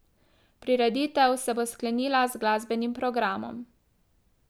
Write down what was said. Prireditev se bo sklenila z glasbenim programom.